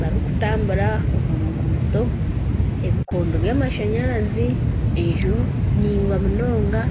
barikutambura omu ruguuto. Ebikondo by'amashanyarazi enju ndaingwa munonga.